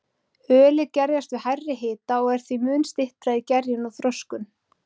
Ölið gerjast við hærri hita og er því mun styttra í gerjun og þroskun.